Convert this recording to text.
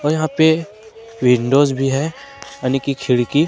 यहां पे विंडोज़ भी है यानी की खिड़की।